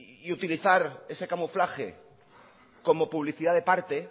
y utilizar ese camuflaje como publicidad de parte